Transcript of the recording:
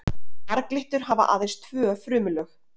Marglyttur hafa aðeins tvö frumulög.